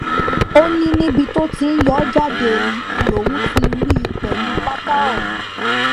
ó ní níbi tó ti ń yọ́ jáde lòun ti rí i pẹ̀lú pátá òun